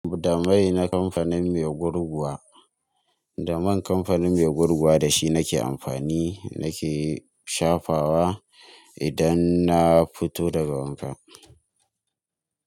Da mai na kamfanin mai gurguwa, da man kamfanin mai gurguwa da shi nake amfani nake shafawa idan na fito daga wanka.